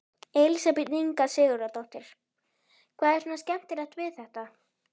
Elísabet Inga Sigurðardóttir: Hvað er svona skemmtilegt við þetta?